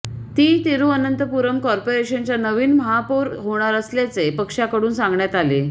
ती तिरुअनंतपुरम कॉर्पोरेशनच्या नवीन महापौर होणार असल्याचे पक्षाकडून सांगण्यात आले